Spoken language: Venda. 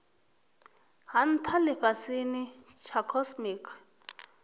ha ntha lifhasini tsha cosmic